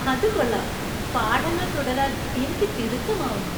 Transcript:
അത് കൊള്ളാം! പാഠങ്ങൾ തുടരാൻ എനിക്ക് തിടുക്കമാവുന്നു.